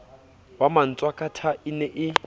wa matshwakatha e ne e